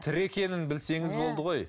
тірі екенін білсеңіз болды ғой